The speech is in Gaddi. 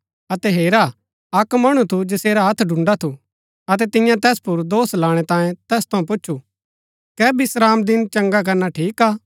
अतै हेरा अक्क मणु थु जैसेरा हत्थ डुण्ड़ा थु अतै तिन्यै तैस पुर दोष लाणै तांयें तैस थऊँ पुछु कै विश्रामदिन चंगा करना ठीक हा